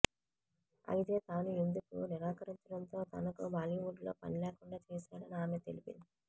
అయితే తాను ఇందుకు నిరాకరించడంతో తనకు బాలీవుడ్లో పని లేకుండా చేశాడని ఆమె తెలిపింది